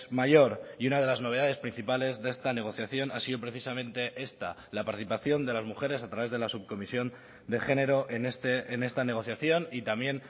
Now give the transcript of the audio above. mayor y una de las novedades principales de esta negociación ha sido precisamente esta la participación de las mujeres a través de la subcomisión de género en esta negociación y también